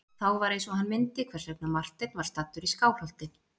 Þá var eins og hann myndi hvers vegna Marteinn var staddur í Skálholti.